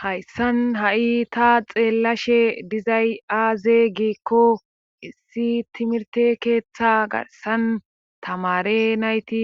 hayssan ha7i ta xeellashe dizay aaze giikko issi timirte keeththa garsan tamare nayti